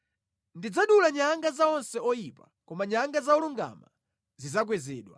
Ndidzadula nyanga za onse oyipa koma nyanga za olungama zidzakwezedwa.